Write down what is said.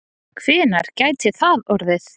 Hvenær gæti það orðið?